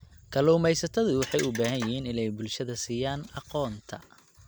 Kalluumaysatadu waxay u baahan yihiin inay bulshada siiyaan aqoonta.